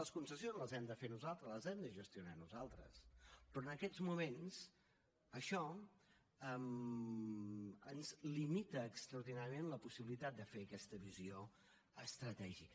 les concessions les hem de fer nosaltres les hem de gestionar nosaltres però en aquests moments això ens limita extraordinàriament la possibilitat de fer aquesta visió estratègica